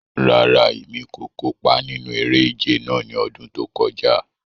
Rárá, Emi ko kopa ninu ere-ije náa ni ọdun to kọja